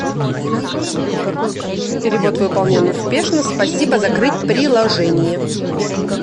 перевод выполнен успешно спасибо закрыть приложение